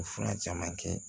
O fura caman kɛ